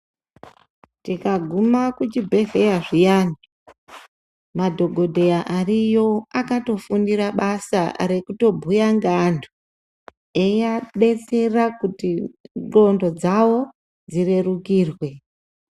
Tikaguma kuchibhedhlera zviyani madhokodheya ariyo akatofundira basa rekutobhuya ngeanhu eiabetsera kuti ndlxondo dzavo dzirerukirwe.